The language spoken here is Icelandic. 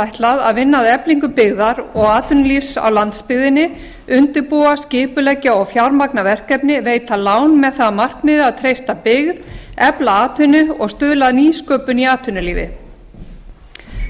ætlað að vinna að eflingu byggðar og atvinnulífs á landsbyggðinni undirbúa skipuleggja og fjármagna verkefni veita lán með það að markmiði að treysta byggð efla atvinnu og stuðla að nýsköpun í atvinnulífi